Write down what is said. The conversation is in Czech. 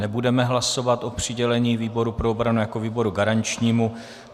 Nebudeme hlasovat o přidělení výboru pro obranu jako výboru garančnímu.